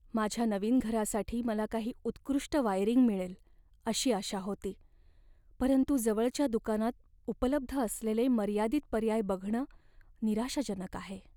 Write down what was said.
माझ्या नवीन घरासाठी मला काही उत्कृष्ट वायरिंग मिळेल अशी आशा होती, परंतु जवळच्या दुकानात उपलब्ध असलेले मर्यादित पर्याय बघणं निराशाजनक आहे.